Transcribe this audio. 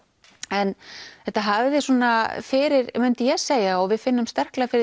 en þetta hafði svona fyrir myndi ég segja og við finnum sterklega fyrir